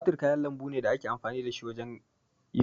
Tumatir kayan lambu ne da ake amfani da shi wajen yin miya.